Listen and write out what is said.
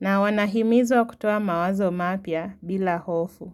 na wanahimizwa kutoa mawazo mapya bila hofu.